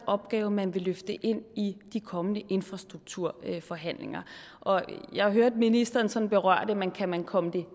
opgave man vil løfte en i de kommende infrastrukturforhandlinger jeg hørte ministeren sådan berøre det men kan man komme det